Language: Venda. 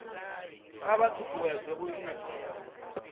a vha ṱuṱuwedza u isa